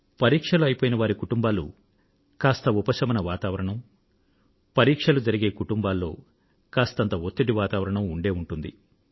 పరీక్షలు అయిపోయిన వారి కుటుంబాలలో కాస్త ఉపశమనభరిత వాతావరణం పరీక్షలు జరిగే కుటుంబాలలో కాస్తంత ఒత్తిడితో కూడిన వాతావరణం ఉండి ఉంటాయి